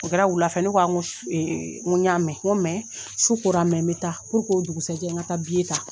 O kɛra wula fɛ' ne k'a ko a e n go y'a mɛn ko mɛ su kora mɛ n be taa puruk'o dugusajɛ n ka taa biye ta